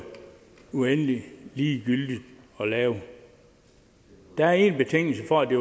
uendelig ligegyldigt at lave der er én betingelse for at det